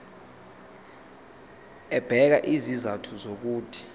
ebeka izizathu zokuthi